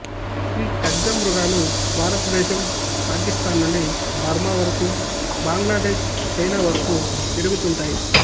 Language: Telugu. ఈ ఖడ్గమృగాలు భారతదేశం పాకిస్తాన్ నుండి బర్మా వరకు బంగ్లాదేశ్ చైనా వరకు తిరుగుతూంటాయి